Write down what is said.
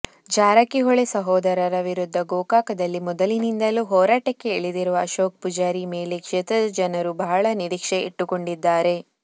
ಜಾರಕಿಹೊಳಿ ಸಹೋದರರ ವಿರುದ್ಧ ಗೋಕಾಕದಲ್ಲಿ ಮೊದಲಿಂದಲೂ ಹೋರಾಟಕ್ಕೆ ಇಳಿದಿರುವ ಅಶೋಕ ಪೂಜಾರಿ ಮೇಲೆ ಕ್ಷೇತ್ರದ ಜನರು ಬಹಳ ನಿರೀಕ್ಷೆ ಇಟ್ಟುಕೊಂಡಿದ್ದಾರೆ